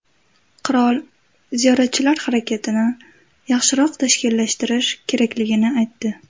Qirol ziyoratchilar harakatini yaxshiroq tashkillashtirish kerakligini aytdi.